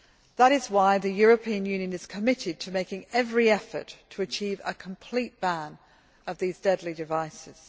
That is why the European Union is committed to making every effort to achieve a complete ban on these deadly devices.